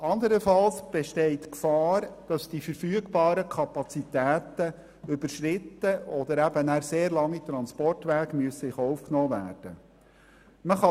Andernfalls besteht die Gefahr, dass die verfügbaren Kapazitäten überschritten oder sehr lange Transportwege in Kauf genommen werden müssen.